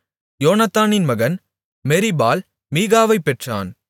யோனத்தானின் மகன் Meribbaal Meribbaal மீகாவைப் பெற்றான்